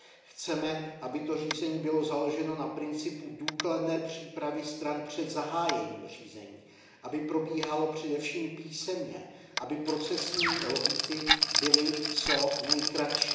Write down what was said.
Chceme, aby to řízení bylo založeno na principu důkladné přípravy stran před zahájením řízení, aby probíhalo především písemně, aby procesní lhůty byly co nejkratší.